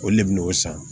O le bɛ n'o san